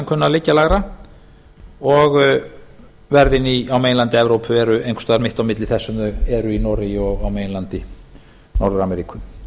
kunna að liggja lægra og verðin á meginlandi evrópu eru einhvers staðar mitt á milli þess sem þau eru í noregi og á meginlandi norður ameríku